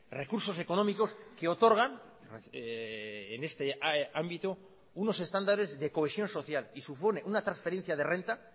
recursos económicos que otorgan en este ámbito unos estándares de cohesión social y supone una transferencia de renta